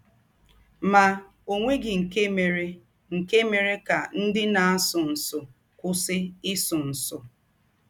Ma ọ nweghị nke mere nke mere ka ndị na - asụ nsụ kwụsị ịsụ nsụ.